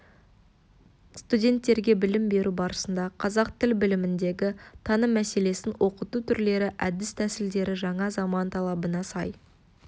студенттерге білім беру барысында қазақ тіл біліміндегі таным мәселесін оқыту түрлері әдіс-тәсілдері жаңа заман талабына сай